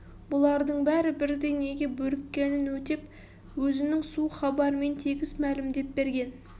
бұлардың бәрі бірдей неге бөріккенін өтеп өзінің суық хабарымен тегіс мәлімдеп берген